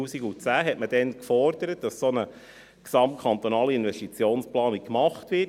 Damals hat man gefordert, dass eine solche GKIP gemacht wird.